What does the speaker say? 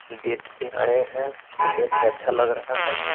Date पे आए हैं देख के अच्छा लग रहा है।